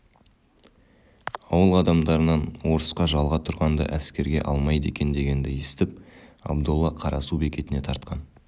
ауыл адамдарынан орысқа жалға тұрғанды әскерге алмайды екен дегенді естіп абдолла қарасу бекетіне тартқан